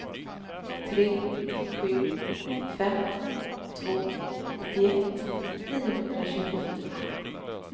tre sju fem två nittioett niohundratjugofyra